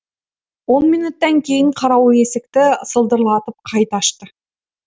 он минуттан кейін қарауыл есікті сылдырлатып қайта ашты